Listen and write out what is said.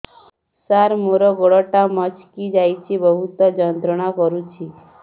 ସାର ମୋର ଗୋଡ ଟା ମଛକି ଯାଇଛି ବହୁତ ଯନ୍ତ୍ରଣା କରୁଛି